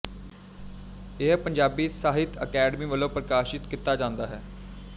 ਇਹ ਪੰਜਾਬੀ ਸਾਹਿੱਤ ਅਕਾਡਮੀ ਵੱਲੋਂ ਪ੍ਰਕਾਸ਼ਿਤ ਕੀਤਾ ਜਾਂਦਾ ਹੈ